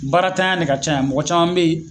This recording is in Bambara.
Baaratanya ne ka ca yan mɔgɔ caman be yen